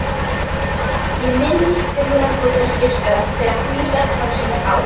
Ég minnist fjögurra góðra skipstjóra, þeirra Hannesar Pálssonar á